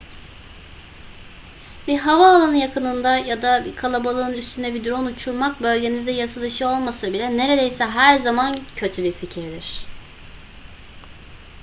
bir havaalanı yakınında ya da bir kalabalığın üstünde bir drone uçurmak bölgenizde yasadışı olmasa bile neredeyse her zaman kötü bir fikirdir